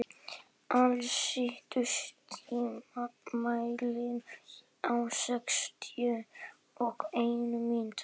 Alís, stilltu tímamælinn á sextíu og eina mínútur.